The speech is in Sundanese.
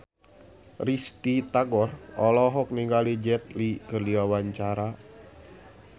Risty Tagor olohok ningali Jet Li keur diwawancara